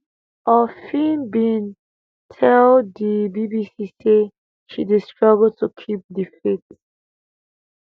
orfi bin tell di bbc say she dey struggle to keep di faith